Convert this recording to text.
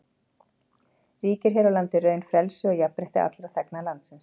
Ríkir hér á landi í raun frelsi og jafnrétti allra þegna landsins.